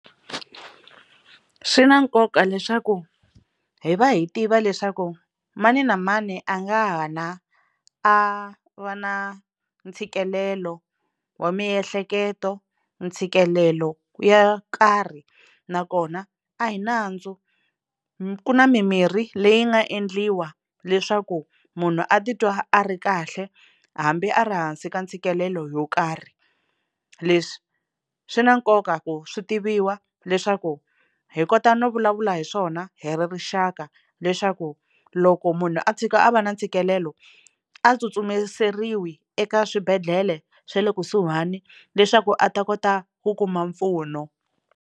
Swi na nkoka leswaku hi va hi tiva leswaku mani na mani a nga ha na a va na ntshikelelo wa miehleketo, ntshikelelo yo karhi nakona a hi nandzu. Ku na mimirhi leyi nga endliwa leswaku munhu a titwa a ri kahle hambi a ri hansi ka ntshikelelo yo karhi. Leswi swi na nkoka ku swi tiviwa leswaku hi kota no vulavula hi swona hi ri rixaka, leswaku loko munhu a tshika a va na ntshikelelo a tsutsumiseriwi eka swibedhlele swa le kusuhani leswaku a ta kota ku kuma mpfuno.